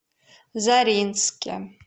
заринске